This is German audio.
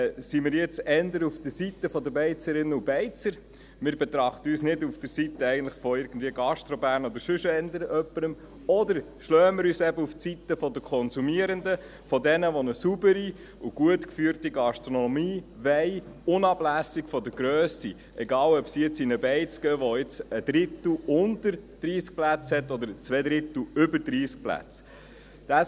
Sind wir nun eher auf der Seite der Beizerinnen und Beizer – wir betrachten uns eigentlich nicht auf der Seite von GastroBern oder sonst jemandem –, oder schlagen wir uns eben auf die Seite der Konsumierenden, also von jenen, die eine saubere und gut geführte Gastronomie wollen, unabhängig von der Grösse, egal ob sie nun in eine Beiz gehen, die jetzt zu dem Drittel mit unter 30 Plätzen oder zu den zwei Dritteln mit über 30 Plätzen gehört.